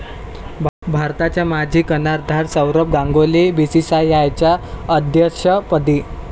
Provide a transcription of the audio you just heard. भारताचा माजी कर्णधार सौरव गांगुली बीसीसीआयच्या अध्यक्षपदी?